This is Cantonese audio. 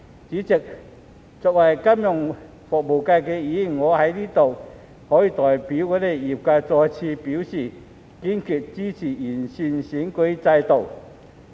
主席，作為金融服務界的議員，我在此代表業界，再次表示我們堅決支持完善選舉制度。